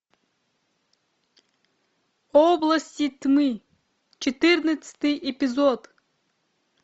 области тьмы четырнадцатый эпизод